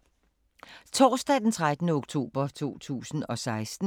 Torsdag d. 13. oktober 2016